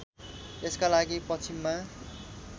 यसका लागि पश्चिममा